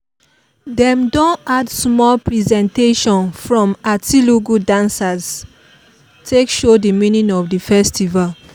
dem don add small presentation from atilogwu dancers take show the meaning of the festival